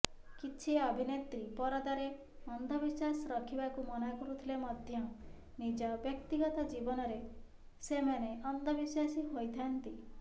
କିଛି ଅଭିନେତ୍ରୀ ପରଦାରେ ଅନ୍ଧବିଶ୍ୱାସ ରଖିବାକୁ ମନା କରୁଥିଲେ ମଧ୍ୟ ନିଜ ବ୍ୟକ୍ତିଗତ ଜୀବନରେ ସେମାନେ ଅନ୍ଧବିଶ୍ୱାସୀ ହୋଇଥାନ୍ତି